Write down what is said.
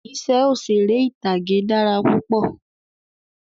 Iṣẹ́ òṣèré ìtàgé dára púpọ̀